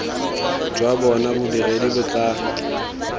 jwa bona bodiredi bo tla